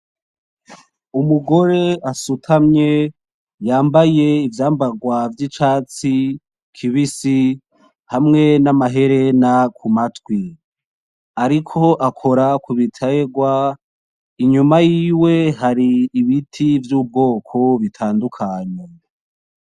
Umugore asutamye yambaye ivyambarwa vy'icatsi kibisi hamwe namaherena kumatwi. Ariko akora kubiterwa, inyuma yiwe hari ibiti vy'ubwoko bitandukanye.